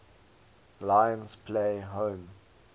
lions play home